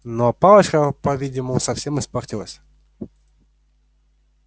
но палочка по-видимому совсем испортилась